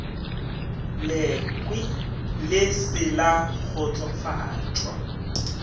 lekhwi le se la kgotsofatšwa